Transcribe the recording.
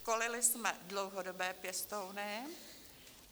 Školili jsme dlouhodobé pěstouny.